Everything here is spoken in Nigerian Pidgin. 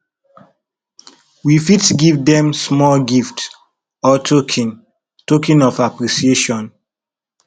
we fit give dem small gift or token token of appreciation